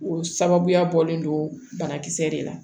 O sababuya bɔlen don banakisɛ de la